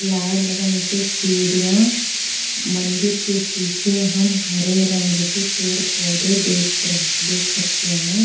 लाल रंग कि सिढियां मंदिर के पीछे हम हरे रंग के पेड़ पोधे देख रह देख सकते हैं।